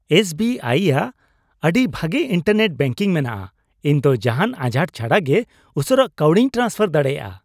S B I ᱼᱟᱜ ᱟᱹᱰᱤ ᱵᱷᱟᱜᱮ ᱤᱱᱴᱟᱨᱱᱮᱴ ᱵᱮᱝᱠᱤᱝ ᱢᱮᱱᱟᱜᱼᱟ ᱾ ᱤᱧ ᱫᱚ ᱡᱟᱦᱟᱱ ᱟᱡᱷᱟᱴ ᱪᱷᱟᱰᱟᱜᱮ ᱩᱥᱟᱹᱨᱟ ᱠᱟᱹᱣᱰᱤᱧ ᱴᱨᱟᱱᱥᱯᱷᱟᱨ ᱫᱟᱲᱮᱭᱟᱜᱼᱟ ᱾